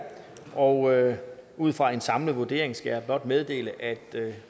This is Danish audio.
og ud fra en samlet vurdering skal jeg blot meddele at